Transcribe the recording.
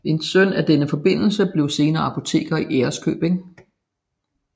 En søn af denne forbindelse blev senere apoteker i Ærøskøbing